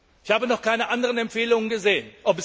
Ich habe noch keine anderen Empfehlungen gesehen.